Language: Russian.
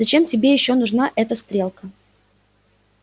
зачем же тебе ещё нужна эта стрелка